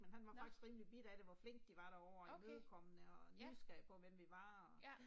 Nåh. Okay, ja, ja